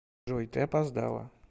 джой ты опоздала